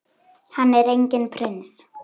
Hann er enginn prins.